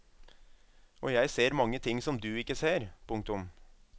Og jeg ser mange ting som du ikke ser. punktum